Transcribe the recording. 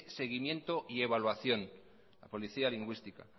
seguimiento y evaluación la policía lingüística